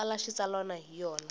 u tsala xitsalwana hi yona